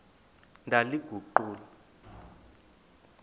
ndaliguqula